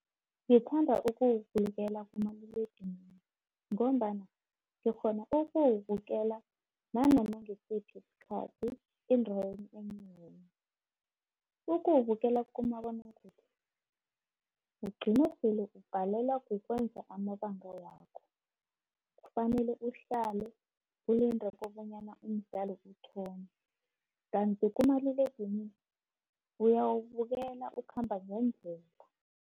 Ngithanda ukuwubukela kumaliledinini, ngombana ngikghona ukuwubukela nanoma ngisiphi sikhathi, endaweni enjani. Ukuwubukela kumabonakude ugcine sele ubhalelwa kukwenza amabanga wakho, kufanele uhlale ulinde kobonyana umdlalo uthome, kanti kumaliledinini uyawubukela ukhamba ngendlela.